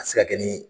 A bɛ se ka kɛ ni